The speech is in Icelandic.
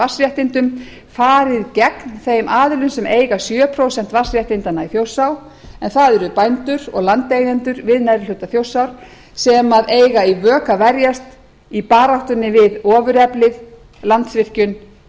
vatnsréttindum farið gegn þeim aðilum sem eiga sjö prósent vatnsréttindanna í þjórsá en það eru bændur og landeigendur við neðri hluta þjórsár sem eiga í vök að verjast í baráttunni við ofureflið landsvirkjun